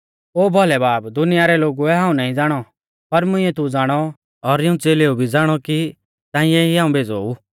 ओ भौलै बाब दुनिया रै लोगुऐ हाऊं नाईं ज़ाणौ पर मुंइऐ तू ज़ाणौ और इऊं च़ेलेऊ भी ज़ाणौ कि ताऐं ई हाऊं भेज़ौ ऊ